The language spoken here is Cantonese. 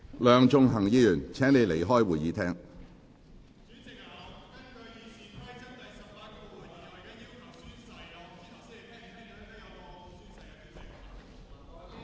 梁頌恆議員，請離開會議廳。